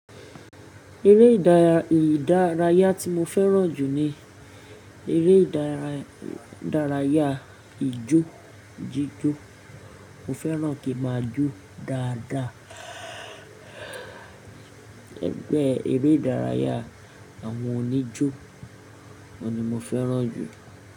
Eré ìdárayá tí mo fẹ́ràn jù ni eré ìdárayá ijó jíjó. Mo fẹ́ràn kí máa jó dáadáa. Ẹgbẹ́ eré ìdárayá àwọn oníjó ni mo fẹ́ràn jù.